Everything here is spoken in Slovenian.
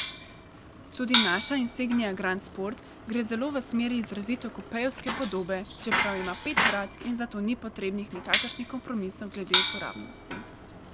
Tudi naša insignia grand sport gre zelo v smeri izrazito kupejevske podobe, čeprav ima pet vrat in zato ni potrebnih nikakršnih kompromisov glede uporabnosti.